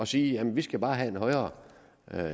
siger jamen vi skal bare have en højere